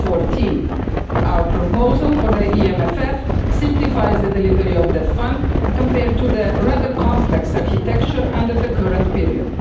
14. Our proposal for the EMFF simplifies the delivery of the fund, compared with the rather complex architecture in the current period.